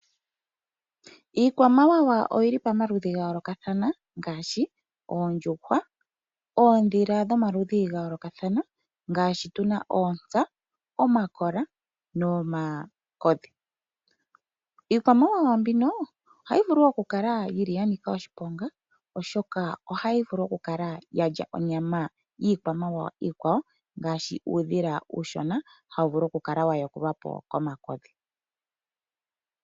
Iikwamawawa oyi li pamaludhi ga yoolokathana ngaashi oondjuhwa, oondhila dhomaludhi ga yoolokathana ngaashi tu na oontsa, omakola nomakodhi. Iikwamawawa mbino ohayi vulu okukala ya nika oshiponga, oshoka ohayi vulu okukala ya lya onyama yiikwamawawa iikwawo ngaashi uudhila hawu vulu okukala wa yakulwa po komakodhi.